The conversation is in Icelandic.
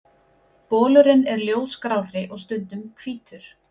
Bolurinn er ljósgrárri og stundum hvítur.